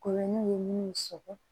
Koloniw ni sɔgɔ